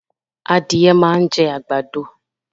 Adìẹ máa ń jẹ́ àgbàdo